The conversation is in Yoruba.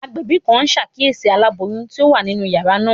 Agbẹbi kan n ṣakiyesi alaboyun ti o wa ninu yara naa.